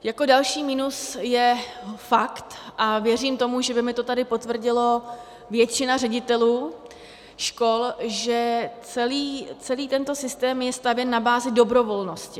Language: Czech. Jako další minus je fakt, a věřím tomu, že by mi to tady potvrdila většina ředitelů škol, že celý tento systém je stavěn na bázi dobrovolnosti.